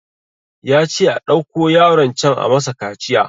Yace a ɗauko yaron can a masa kaciya